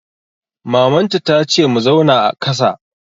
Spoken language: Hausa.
Maman ta ta ce mu zauna a kàsa!